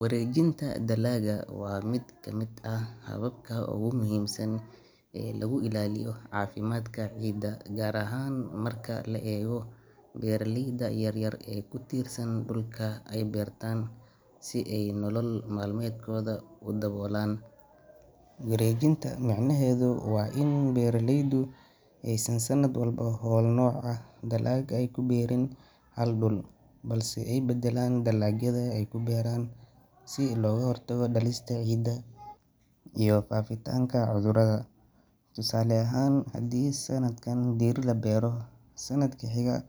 Wareejinta dalagga waa mid ka mid ah hababka ugu muhiimsan ee lagu ilaaliyo caafimaadka ciidda, gaar ahaan marka la eego beeralayda yar yar ee ku tiirsan dhulka ay beertaan si ay nolol maalmeedkooda u daboolaan. Wareejinta micnaheedu waa in beeraleydu aysan sanad walba hal nooc oo dalag ah ku beerin hal dhul, balse ay beddelaan dalagyada ay ku beeraan si looga hortago daalista ciidda iyo faafitaanka cudurrada. Tusaale ahaan, haddii sanadkan digir la beero, sanadka xiga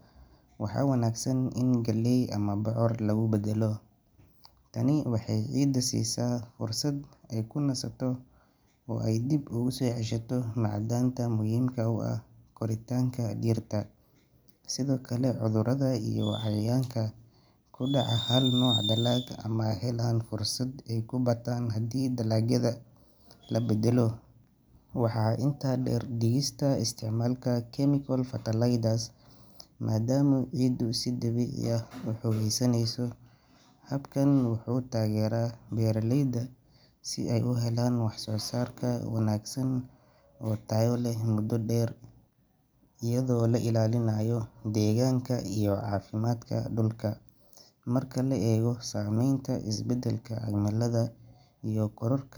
waxaa wanaagsan in galley ama bocor lagu beddelo. Tani waxay ciidda siisaa fursad ay ku nasato oo ay dib ugu soo ceshato macdanta muhiimka u ah koritaanka dhirta. Sidoo kale, cudurrada iyo cayayaanka ku dhaca hal nooc dalag ma helaan fursad ay ku bataan haddii dalagyada la bedbeddelo. Waxaa intaa dheer in wareejinta dalagga ay ka caawiso hoos u dhigista isticmaalka chemical fertilizers maadaama ciiddu si dabiici ah u xoogeysaneyso. Habkan wuxuu taageeraa beeraleyda si ay u helaan wax soo saar wanaagsan oo tayo leh muddo dheer, iyadoo la ilaalinayo deegaanka iyo caafimaadka dhulka. Marka la eego saameynta isbeddelka cimilada iyo kororka.